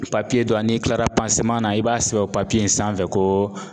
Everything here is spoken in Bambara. Papiye dɔ n'i kilara na i b'a sɛbɛn o papiye in sanfɛ ko